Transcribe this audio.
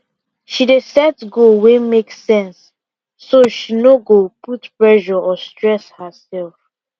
she dey set goal wey make sense so she no go put pressure or stress herself